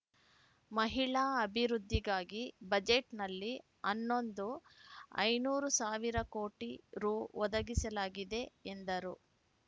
ಮಹಿಳಾ ಅಭಿವದ್ಧಿಗಾಗಿ ಬಜೆಟ್‌ನಲ್ಲಿ ಹನ್ನೊಂದು ಐನೂರು ಸಾವಿರ ಕೋಟಿ ರೂ ಒದಗಿಸಲಾಗಿದೆ ಎಂದರು